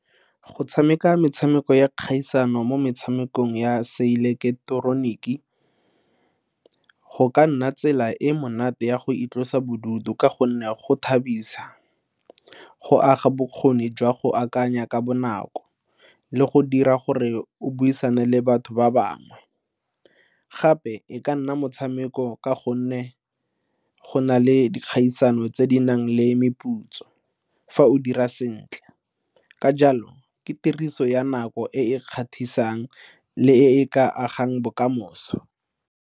Go tshameka metshameko ya kgaisano mo metshamekong ya seileketeroniki go ka nna tsela e monate ya go itlosa bodutu ka gonne go thabisa, go aga bokgoni jwa go akanya ka bonako le go dira gore o buisane le batho ba bangwe. Gape e ka nna motshameko ka gonne go go na le dikgaisano tse di nang le meputso fa o dira sentle ka jalo ke tiriso ya nako e e kgatlhisang le e e ka agang bokamoso.